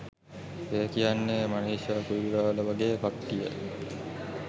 ඒ කියන්නේ මනිෂා කොයිරාල වගේ කට්ටිය.